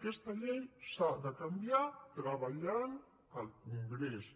aquesta llei s’ha de canviar treballant al congrés